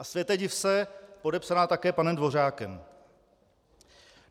A světe div se, podepsaná také panem Dvořákem.